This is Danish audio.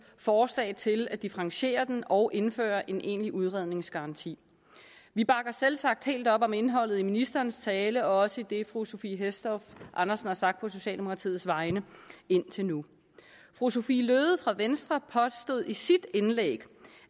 forslag til at differentiere den og indføre en egentlig udredningsgaranti vi bakker selvsagt helt op om indholdet i ministerens tale og også i det som fru sophie hæstorp andersen har sagt på socialdemokratiets vegne indtil nu fru sophie løhde fra venstre påstod i sit indlæg